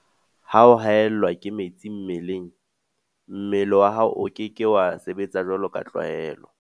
Ha o haellwa ke metsi mmeleng, mmele wa hao o ke ke wa sebetsa jwaloka tlwaelo.